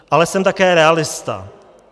Ale jsem také realista.